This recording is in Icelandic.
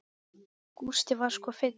Gústi var sko fínn.